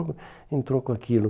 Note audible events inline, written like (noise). (unintelligible) entrou com aquilo.